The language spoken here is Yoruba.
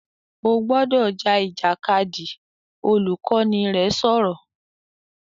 "O gbọ́dọ̀ ja Ìjàkadì!", Olùkọ́ni rẹ sọ̀rọ̀